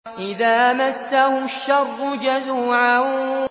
إِذَا مَسَّهُ الشَّرُّ جَزُوعًا